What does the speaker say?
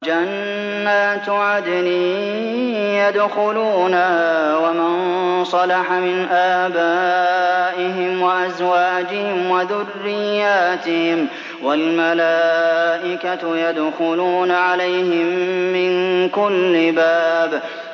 جَنَّاتُ عَدْنٍ يَدْخُلُونَهَا وَمَن صَلَحَ مِنْ آبَائِهِمْ وَأَزْوَاجِهِمْ وَذُرِّيَّاتِهِمْ ۖ وَالْمَلَائِكَةُ يَدْخُلُونَ عَلَيْهِم مِّن كُلِّ بَابٍ